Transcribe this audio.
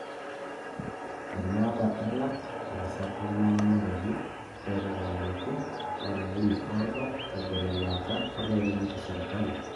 enaata alak, ilaasak lemeng'amaroyu, aatuutakaki, olaini oodo, egol elaata, orkeek lemetii sipitali